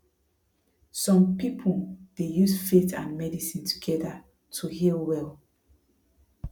some people dey use faith and medicine together to heal well